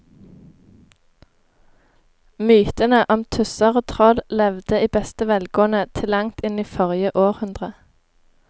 Mytene om tusser og troll levde i beste velgående til langt inn i forrige århundre.